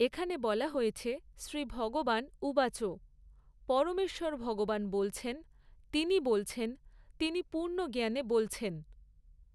এখানে বলা হয়েছে শ্রী ভগবান উবাচঃ, পরমেশ্বর ভগবান বলছেন, তিনি বলছেন, তিনি পূর্ণ জ্ঞানে বলছেন।